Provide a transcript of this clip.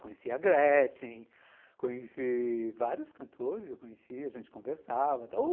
Conheci a Gretchen, conheci vários cantores, eu conhecia, a gente conversava.